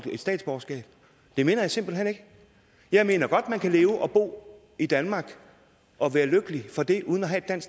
et statsborgerskab det mener jeg simpelt hen ikke jeg mener godt man kan leve og bo i danmark og være lykkelig for det uden at have et